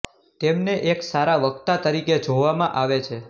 તેમને એક સારા વક્તા તરીકે જોવામાં આવે છે